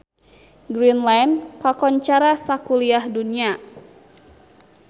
Greenland kakoncara sakuliah dunya